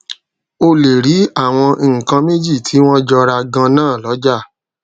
o lè rí àwọn nǹkan méjì tí wón jọra ganan lójà